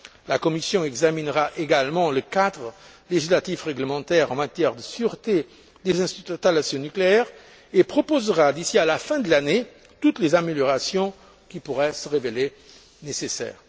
La Commission examinera également le cadre législatif réglementaire en matière de sûreté des installations nucléaires et proposera, d'ici à la fin de l'année, toutes les améliorations qui pourraient se révéler nécessaires.